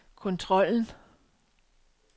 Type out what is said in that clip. kontrollen